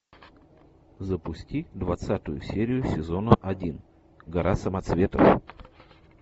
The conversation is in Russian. запусти двадцатую серию сезона один гора самоцветов